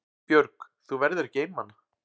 Björg: Þú verður ekki einmana?